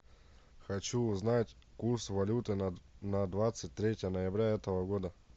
хочу узнать курс валюты на двадцать третье ноября этого года